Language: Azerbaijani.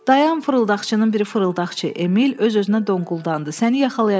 Dayan fırıldaqçının biri fırıldaqçı, Emil öz-özünə donquldandı, səni yaxalayacam.